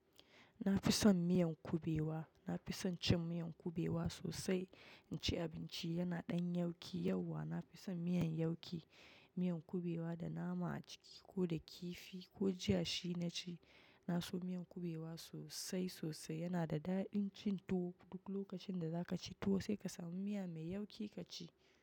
Na fi son miyan kubewa. Na fi son cin miyan kubewa sosai. In ci abinci yana ɗan yauki yauwa. Na fi son miyan yauki, miyan kubewa da nama a ciki ko da kifi ko jiya shi na ci. Na so miyan kubewa sosai sosai. Yana da daɗin cin tuwo. Duk lokacin da za ka ci tuwo sai ka samu miya mai yauki ka ci.